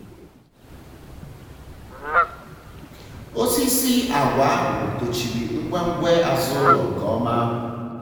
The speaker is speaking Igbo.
osisi àgwà ahụ tochịrị ngwe ngwe azụ ụlọ nke ọma.